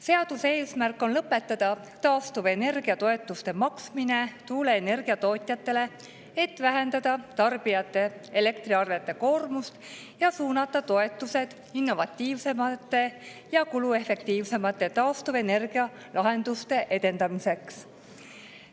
Seaduse eesmärk on lõpetada taastuvenergia toetuste maksmine tuuleenergia tootjatele, et vähendada elektriarvetest koormust tarbijatele ning suunata toetused innovatiivsemate ja kuluefektiivsemate taastuvenergialahenduste edendamiseks.